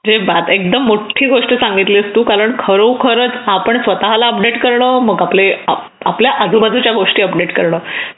जे बात एकदम मोठी गोष्ट सांगितलीस कारण खरोखरच आपण स्वतःला अपडेट करणे मग आपल्या आजूबाजूच्या गोष्टी अपडेट करणे